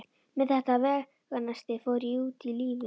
Með þetta veganesti fór ég út í lífið.